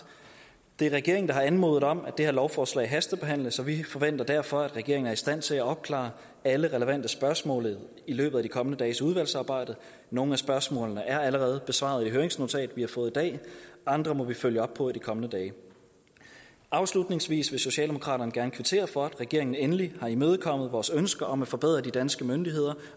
det er regeringen der har anmodet om at det her lovforslag hastebehandles så vi forventer derfor at regeringen er i stand til at opklare alle relevante spørgsmål i løbet af de kommende dages udvalgsarbejde nogle af spørgsmålene er allerede besvaret i et høringsnotat vi har fået i dag andre må vi følge op på i de kommende dage afslutningsvis vil socialdemokraterne gerne kvittere for at regeringen endelig har imødekommet vores ønske om at forberede de danske myndigheder